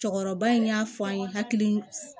Cɔkɔrɔba in y'a fɔ an ye hakili